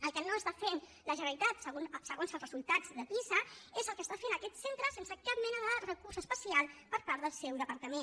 el que no fa la generalitat segons els resultats de pisa és el que fa aquest centre sense cap mena de recurs especial per part del seu departament